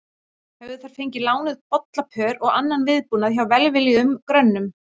Höfðu þær fengið lánuð bollapör og annan viðbúnað hjá velviljuðum grönnum.